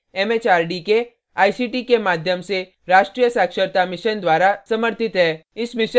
यह भारत सरकार के एमएचआरडी के आईसीटी के माध्यम से राष्ट्रीय साक्षरता mission द्वारा समर्थित है